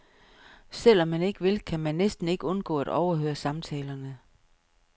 Selv om man ikke vil, kan man næsten ikke undgå at overhøre samtalerne.